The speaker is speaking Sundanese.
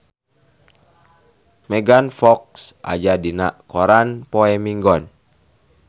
Megan Fox aya dina koran poe Minggon